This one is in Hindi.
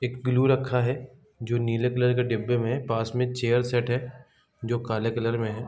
एक ग्लू रखा है जो नीले कलर के डिब्बे में पास में चेयर सेट है जो काले कलर में है।